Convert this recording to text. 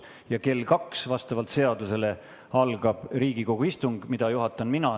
Ja kell kaks algas vastavalt seadusele Riigikogu istung, mida juhatan mina.